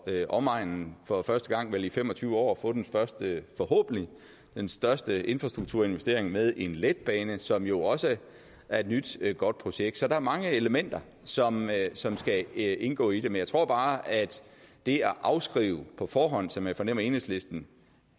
omegnen for første gang vel i fem og tyve år at få den første forhåbentlig den største infrastrukturinvestering med en letbane som jo også er et nyt godt projekt så der er mange elementer som som skal indgå i men jeg tror bare at det at afskrive på forhånd som jeg fornemmer enhedslisten